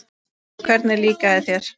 Gísli: Hvernig líkaði þér?